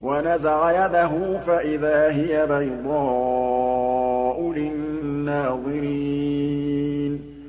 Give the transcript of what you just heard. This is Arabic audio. وَنَزَعَ يَدَهُ فَإِذَا هِيَ بَيْضَاءُ لِلنَّاظِرِينَ